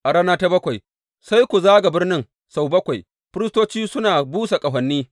A rana ta bakwai sai ku zaga birnin sau bakwai, firistocin suna busa ƙahoni.